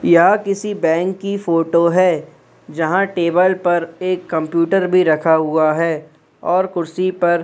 यह किसी बैंक की फोटो है जहां टेबल पर एक कंप्यूटर भी रखा हुआ है और कुर्सी पर--